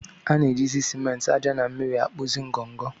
A na-eji ciment, ájá na mmiri na-akpụzi ngọngọ.